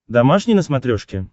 домашний на смотрешке